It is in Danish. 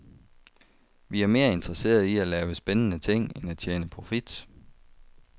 Vi er mere interesserede i at lave spændende ting end at tjene profit.